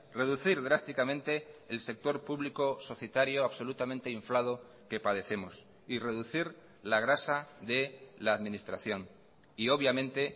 reducir drásticamente el sector público societario absolutamente inflado que padecemos y reducir la grasa de la administración y obviamente